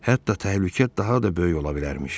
Hətta təhlükə daha da böyük ola bilərmiş.